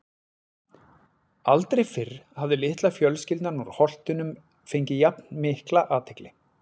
Aldrei fyrr hafði litla fjölskyldan úr Holtunum fengið jafn mikla athygli.